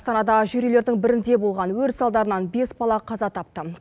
астанада жер үйлердің бірінде болған өрт салдарынан бес бала қаза тапты